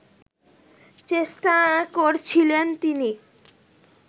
চেষ্টা করছিলেন তিনি